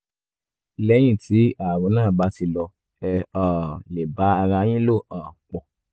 lẹ́yìn tí ààrùn náà bá ti lọ ẹ um lè bá ara yín lò um pọ̀